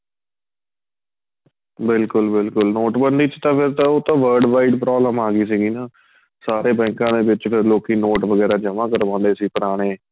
ਬਿਲਕੁਲ ਬਿਲਕੁਲ ਨੋਟਬੰਦੀ ਚ ਤਾਂ ਫ਼ੇਰ ਉਹ ਤਾਂ world wide problem ਆਂ ਗਈ ਸੀਗੀ ਨਾ ਸਾਰੇ ਬੈੰਕਾਂ ਆਲੇ ਖਿਚਕੇ ਲੋਕੀ ਨੋਟ ਵਗੇਰਾ ਜਮਾਂ ਕਰਵਾਉਦੇ ਸੀ ਪੁਰਾਣੇ